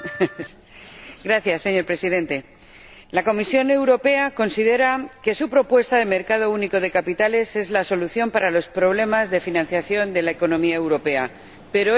Señor Presidente, la Comisión Europea considera que su propuesta de un mercado único de capitales es la solución para los problemas de financiación de la economía europea, pero esto no es así.